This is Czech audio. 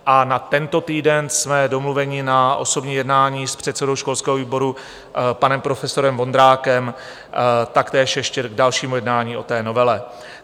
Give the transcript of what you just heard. A na tento týden jsme domluveni na osobním jednání s předsedou školského výboru panem profesorem Vondrákem taktéž ještě k dalšímu jednání o té novele.